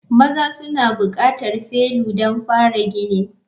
Maza suna buƙatar felu don fara ginin.